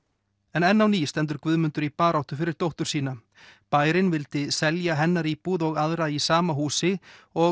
en enn á ný stendur Guðmundur í baráttu fyrir dóttur sína bærinn vildi selja hennar íbúð og aðra í sama húsi og